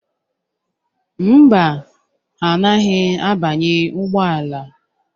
Mba, ha anaghị abanye ụgbọala.